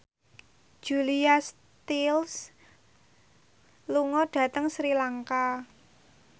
Julia Stiles lunga dhateng Sri Lanka